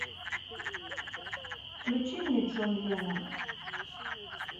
включи мне джон леннон